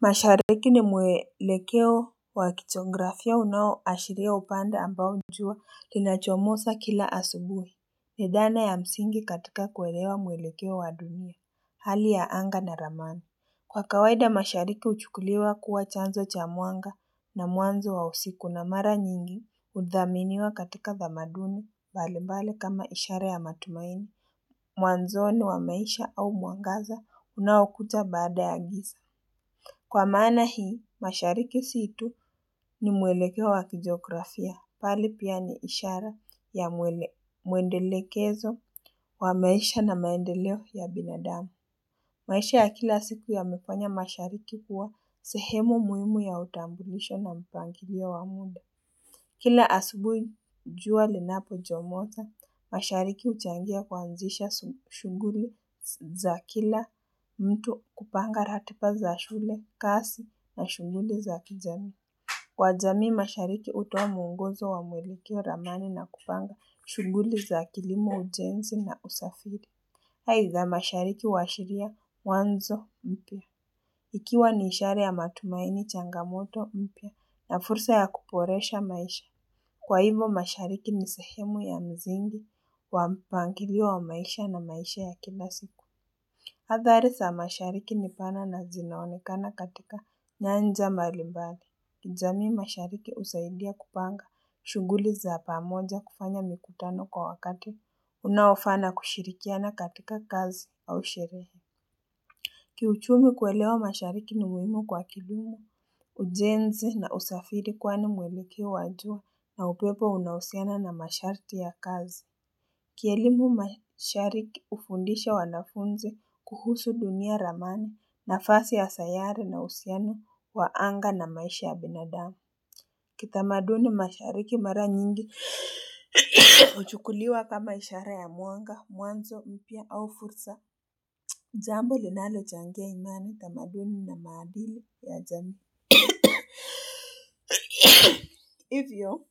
Mashariki ni mwelekeo wa kijografia unaoashiria upande ambao jua linachomoza kila asubuhi. Ni dhana ya msingi katika kuelewa mwelekeo wa dunia hali ya anga na ramani. Kwa kawaida mashariki huchukuliwa kuwa chanzo cha mwanga na mwanzo wa siku na mara nyingi, hudhaminiwa katika tamaduni, mbalimbali kama ishara ya matumaini, mwanzoni wa maisha au mwangaza unaokuja baada ya giza. Kwa maana hii, mashariki si tu, ni mwelekeo wa kijografia. Bali pia ni ishara ya mwendelekezo wa maisha na maendeleo ya binadamu. Maisha ya kila siku yamefanya mashariki kuwa sehemu muhimu ya utambulisho na mpangilio wa muda. Kila asubuhi jua linapochomoza, mashariki huchangia kuanzisha shughuli za kila mtu, kupanga ratiba za shule, kazi na shughuli za kijamii. Kwa jamii, mashariki hutoa mwongozo wa mwelekeo, ramani na kupanga shughuli za kilimo, ujenzi na usafiri. Aidha, mashariki huashiria mwanzo mpya. Ikiwa ni ishara ya matumaini, changamoto mpya na fursa ya kuboresha maisha. Kwa hivo, mashariki ni sehemu ya msingi wa mpangilio wa maisha na maisha ya kila siku. Athari za mashariki ni pana na zinaonekana katika nyanja mbalimbali. Jamii mashariki husaidia kupanga shughuli za pamoja, kufanya mikutano kwa wakati unaofaa na kushirikiana katika kazi au sherehe. Kiuchumi kuelewa mashariki ni muhimu kwa kilimo, ujenzi na usafiri kwani mwelekeo wa jua na upepo unahusiana na masharti ya kazi. Kielimu mashariki hufundisha wanafunzi kuhusu dunia, ramani nafasi ya sayari na uhusiano wa anga na maisha ya binadamu. Kitamaduni mashariki mara nyingi huchukuliwa kama ishara ya mwanga, mwanzo mpya au fursa, jambo linalochangia imani, utamaduni na maadili ya jamii. Hivyo,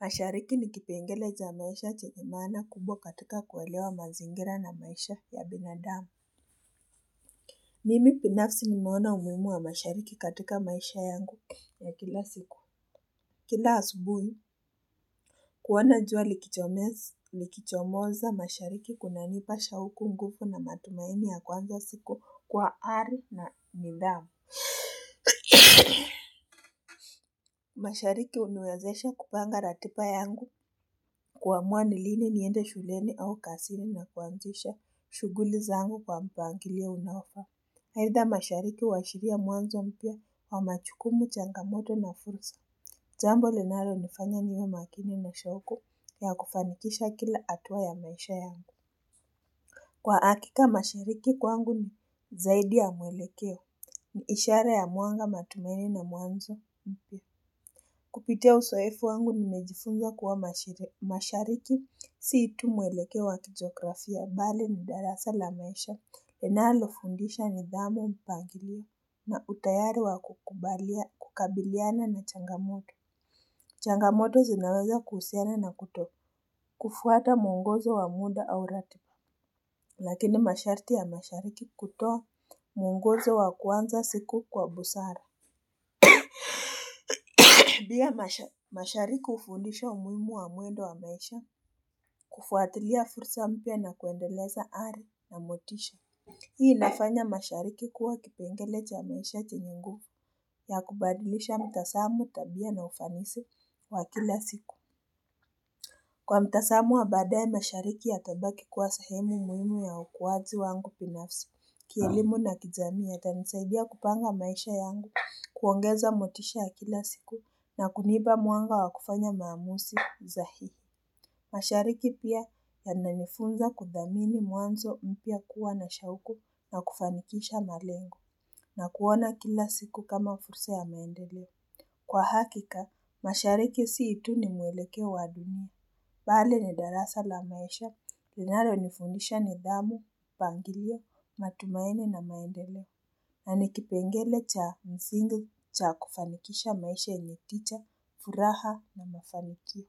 mashariki ni kipengele cha maisha chenye maana kubwa katika kuelewa mazingira na maisha ya binadamu. Mimi binafsi nimeona umuhimu wa mashariki katika maisha yangu ya kila siku. Kila asubuhi, kuona jua likichomoza mashariki kunanipa shauku, nguvu na matumaini ya kuanza siku kwa ari na nidhamu. Mashariki huniwezesha kupanga ratiba yangu kuamua ni lini niende shuleni au kazini na kuanzisha shughuli zangu kwa mpangilio unaofaa. Aidha, mashariki huashiria ya mwanzo mpya wa majukumu, changamoto na fursa. Jambo linalonifanya niwe makini na shauku ya kufanikisha kila hatua ya maisha yangu Kwa hakika mashariki kwangu ni zaidi ya mwelekeo. Ni ishara ya mwanga, matumaini na mwanzo mpya Kupitia uzoefu wangu nimejifunza kuwa mashariki si tu mwelekeo wa kijografia, bali ni darasa la maisha linalofundisha nidhamu, mpangilio na utayari wa kukabiliana na changamoto. Changamoto zinaweza kuhusiana na kutokufuata mwongozo wa muda au ratiba lakini masharti ya mashariki kutoa mwongozo wa kuanza siku kwa busara. Pia mashariki hufundisha umuhimu wa mwendo wa maisha kufuatilia fursa mpya na kuendeleza ari na motisha. Hii inafanya mashariki kuwa kipengele cha maisha chenye nguvu ya kubadilisha mtazamo, tabia na ufanisi wa kila siku Kwa mtazamo wa baadaye mashariki yatabaki kuwa sehemu muhimu ya ukuaji wangu binafsi. Kielimu na kijamii yatanisaidia kupanga maisha yangu, kuongeza motisha ya kila siku na kunipa mwanga wa kufanya maamuzi sahihi Mashariki pia yananifunza kudhamini mwanzo mpya, kuwa na shauku na kufanikisha malengo na kuona kila siku kama fursa ya maendeleo. Kwa hakika, mashariki si tu ni mwelekeo wa dunia, bali ni darasa la maisha linalonifundisha nidahmu, mpangilio, matumaini na maendeleo. Na ni kipengele cha msingi cha kufanikisha maisha yenye tija, furaha na mafanikio.